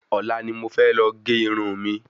Ọ̀la ni mo fẹ́ lọ gé Irun mi